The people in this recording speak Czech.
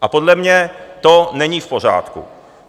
A podle mě to není v pořádku.